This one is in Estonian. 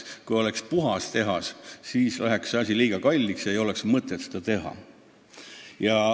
Kui oleks puhas tehas, siis läheks ettevõtmine liiga kalliks ja ei oleks mõtet seda teha.